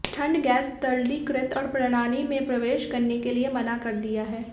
ठंड गैस तरलीकृत और प्रणाली में प्रवेश करने के लिए मना कर दिया है